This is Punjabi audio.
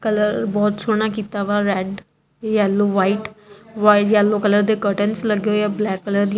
ਕਲਰ ਬਹੁਤ ਸੋਹਣਾ ਕੀਤਾ ਵਾ red yellow white white yellow colour ਦੇ ਕਰਟੇਨਸ ਲੱਗੇ ਹੋਏ ਆ ਬਲੈਕ ਕਲਰ ਦੀ--